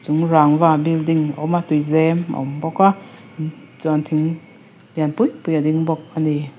chung rangva building awm a tuizem a awm bawk a chuan thing lian pui pui a ding bawk ani.